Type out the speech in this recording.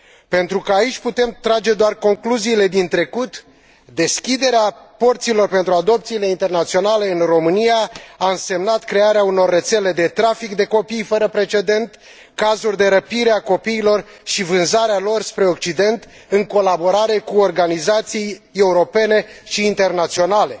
Pentru că aici putem trage doar concluziile din trecut, deschiderea porților pentru adopțiile intenționale în România a însemnat crearea unor rețele de trafic de copii fără precedent, cazuri de răpire a copiilor și vânzarea lor spre Occident, în colaborare cu organizații europene și internaționale.